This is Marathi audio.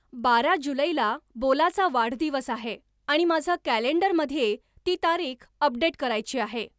बारा जुलैला बोलाचा वाढदिवस आहे आणि माझं कॅलेंडरमध्ये ती तारीख अपडेट करायची आहे.